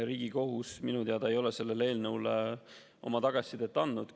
Riigikohus ei ole minu teada sellele eelnõule oma tagasisidet andnud.